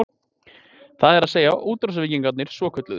Það er að segja, útrásarvíkingarnir svokölluðu?